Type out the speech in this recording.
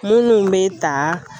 Munnu bɛ ta